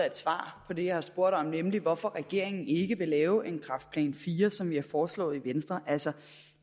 et svar på det jeg har spurgt om nemlig hvorfor regeringen ikke vil lave en kræftplan iv som vi har foreslået i venstre altså